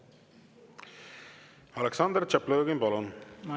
Aleksandr Tšaplõgin, palun!